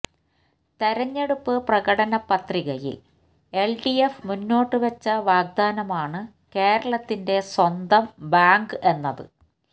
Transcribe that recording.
തെരഞ്ഞെടുപ്പ് പ്രകടനപത്രികയില് എല്ഡിഎഫ് മുന്നോട്ടുവച്ച വാഗ്ദാനമാണ് കേരളത്തിന്റെ സ്വന്തം ബാങ്ക് എന്നത്